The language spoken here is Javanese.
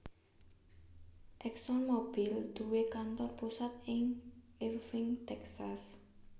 ExxonMobil duwé kantor pusat ing Irving Texas